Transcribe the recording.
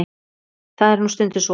Það er nú stundum svo.